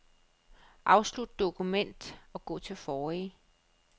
Afslut dokument og gå til forrige.